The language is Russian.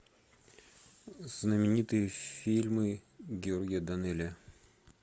знаменитые фильмы георгия данелия